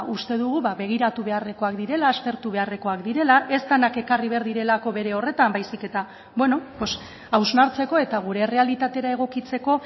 uste dugu begiratu beharrekoak direla aztertu beharrekoak direla ez denak ekarri behar direlako bere horretan baizik eta hausnartzeko eta gure errealitatera egokitzeko